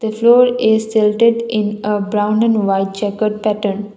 role is shelted in a brown and white check out pattern.